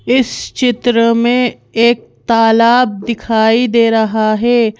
इस चित्र में एक तालाब दिखाई दे रहा है।